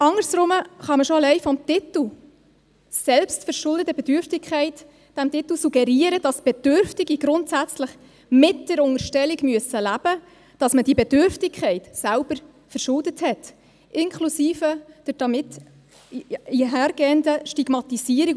Anders herum kann man schon allein mit dem Titel «selbstverschuldete Bedürftigkeit» suggerieren, dass Bedürftige grundsätzlich mit der Unterstellung leben müssen, dass man die Bedürftigkeit selber verschuldet hat, inklusive der damit einhergehenden Stigmatisierung.